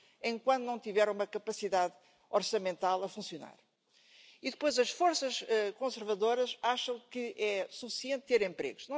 wie im 20. Jahrhundert von außen gefährdet, sondern von innen, und zwar vor allem durch eine völlig verfehlte Migrationspolitik, die die Kommission und auch dieses Haus tüchtig mit begleiten.